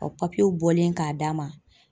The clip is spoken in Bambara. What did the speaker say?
Ka bɔlen k'a d'a ma